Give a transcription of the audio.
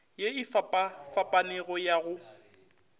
ye e fapafapanego ya go